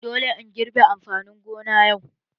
Dole ka girbe amfanin gona yau!